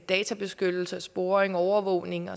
databeskyttelse sporing overvågning